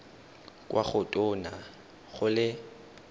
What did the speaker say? kwa go tona go le